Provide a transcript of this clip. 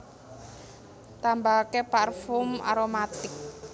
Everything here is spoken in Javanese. Tambahake parfum aromatic